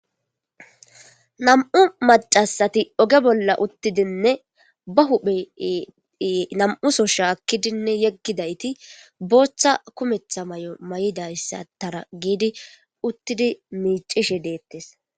Nam'u macasati oge bolla uttidinne ba huphe nam'uso shaakkidinne yeggidayti booththa kumetha may'o ma7idayssa tara giidi uttidi miicishe deettes.